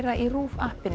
í RÚV